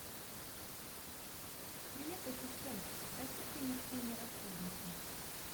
привет ассистент попроси принести мне расходники